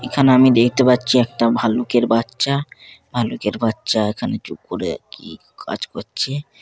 এখানে আমি দেখতে পাচ্ছি একটা ভাল্লুকের বাচ্চা ভাল্লুকের বাচ্চা-আ ভালুকের বাচ্চা এখানে চুপ করে কি কাজ করছে--